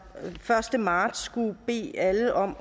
første marts skulle bede alle om